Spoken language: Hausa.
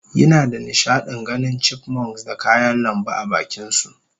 yinada nishadin ganin Chipmunks da kayan lambu abakinsu